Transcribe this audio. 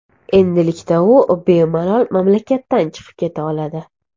Endilikda u bemalol mamlakatdan chiqib keta oladi.